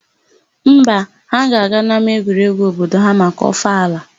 Mba, ha ga-aga n'ama egwuregwu obodo ha maka ọfala.